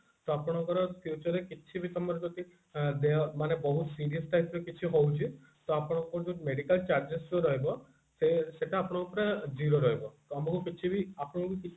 ତ ଆପଣଙ୍କର future ରେ କିଛି ବି ତମ ର ଯଦି ଦେହ ମାନେ ବହୁତ serious type ର କିଛି ହଉଛି ତ ଅପଙ୍କଉ କୌଣସି medical charges ଯୋଉ ରହିବ ସେ ସେଟା ଆପଣଙ୍କୁ ପୁରା zero ରହିବ ତମକୁ କିଛିବି ଆପଣଙ୍କୁ କିଛି ବି